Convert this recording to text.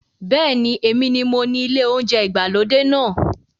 Bẹ́ẹ̀ni, Èmi mi mo ní ilé oúnjẹ ìgbàlódé náà